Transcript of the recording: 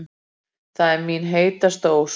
Það er mín helsta ósk